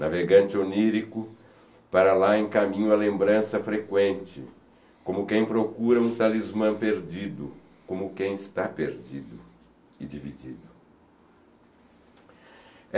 Navegante onírico, para lá em caminho a lembrança frequente, como quem procura um talismã perdido, como quem está perdido e dividido.